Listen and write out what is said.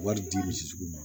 Wari di misi tigi ma